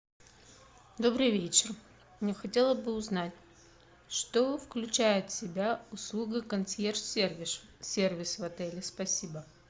добрый вечер я хотела бы узнать что включает в себя услуга консьерж сервис в отеле спасибо